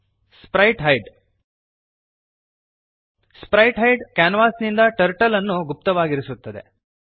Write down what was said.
sprite hide sprite hide ಕ್ಯಾನ್ವಾಸಿನಿಂದ turtle ಅನ್ನು ಗುಪ್ತವಾಗಿರಿಸುತ್ತದೆ